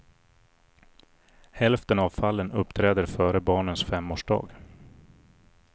Hälften av fallen uppträder före barnens femårsdag.